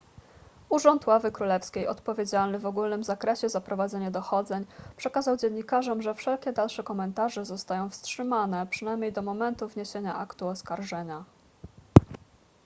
urząd ławy królewskiej odpowiedzialny w ogólnym zakresie za prowadzenie dochodzeń przekazał dziennikarzom że wszelkie dalsze komentarze zostają wstrzymane przynajmniej do momentu wniesienia aktu oskarżenia